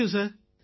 thank you